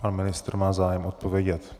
Pan ministr má zájem odpovědět.